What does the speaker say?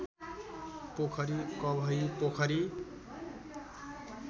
पोखरी कवही पोखरी